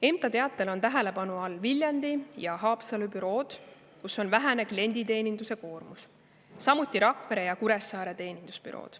MTA teatel on tähelepanu all Viljandi ja Haapsalu bürood, kus on vähene klienditeeninduse koormus, samuti Rakvere ja Kuressaare teenindusbüroo.